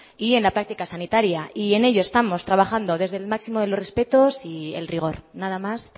y en la práctica sanitaria y en ellos estamos trabajando desde el máximo de los respetos y el rigor nada más